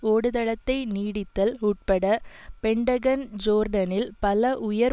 ஓடுதளத்தை நீட்டித்தல் உட்பட பெண்டகன் ஜோர்டானில் பல உயர்